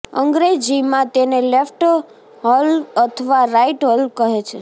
અંગ્રેજીમાં તેને left whorl અથવા રાઈટ વ્હર્લ કહે છે